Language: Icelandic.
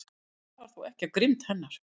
Það stafar þó ekki af grimmd hennar.